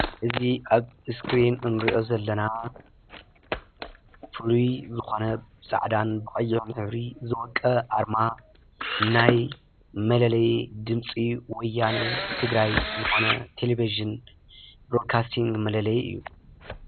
እዚ ኣብ እስክሪን እንሪኦ ዘለና ፍሉይ ዝኾነ ብፃዕዳን ብቐይሕን ሕብሪ ዝወቀበ ኣርማ ናይ መለለዪ ድምፂ ወያነ ትግራይ ዝኾነ ቴሌቭዥን ብሮድካስቲንግ መለለዪ እዩ፡፡